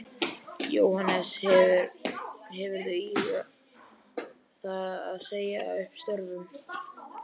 Jóhannes: Hefurðu íhugað það að segja upp störfum?